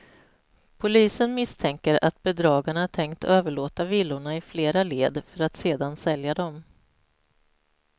Polisen misstänker att bedragarna tänkt överlåta villorna i flera led, för att sedan sälja dem.